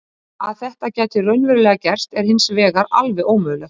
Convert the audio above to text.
Að þetta gæti raunverulega gerst er hins vegar alveg ómögulegt.